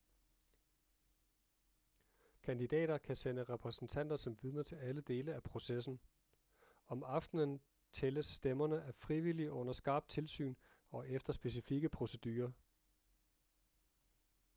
kandidater kan sende repræsentanter som vidner til alle dele af processen om aftenen tælles stemmerne af frivillige under skarpt tilsyn og efter specifikke procedurer